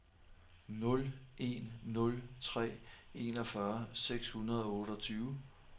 nul en nul tre enogfyrre seks hundrede og otteogtyve